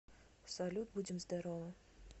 салют будем здоровы